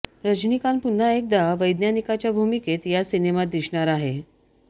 रजनीकांत पुन्हा एकदा वैज्ञानिकाच्या भूमिकेत या सिनेमात दिसणार आहे